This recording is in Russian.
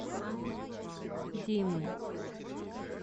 димы